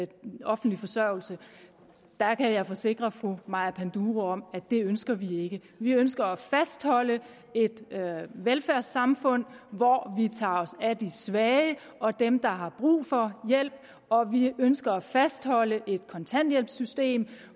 den offentlige forsørgelse der kan jeg forsikre fru maja panduro om at det ønsker vi ikke vi ønsker at fastholde et velfærdssamfund hvor vi tager os af de svage og dem der har brug for hjælp og vi ønsker at fastholde et kontanthjælpssystem